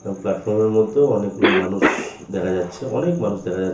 এবং প্লাটফর্ম -এর মধ্যেও অনেক গুলা মানু-ষ দেখা যাচ্ছে অনেক মানুষ দেখা যাচ্ছে ।